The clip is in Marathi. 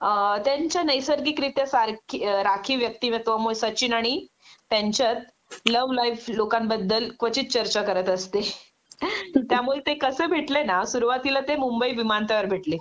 त्यांच्या नैसर्गिकरित्या सारखी राखी व्यक्तिमत्वामुळे सचिन आणि त्यांच्यात लव्ह लाइफ लोकांबद्दल क्वचित चर्चा करत असते.त्यामुळे ते कसे भेटले ना सुरुवातीला ते मुंबई विमान तळावर भेटले